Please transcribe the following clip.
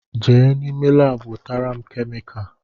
Je n’ime laabu wetara m kemika